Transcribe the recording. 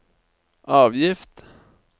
avgift